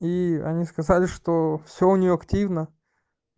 ии они сказали что всё у неё активно